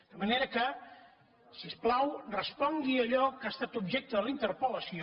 de manera que si us plau respongui a allò que ha estat objecte de la interpel·lació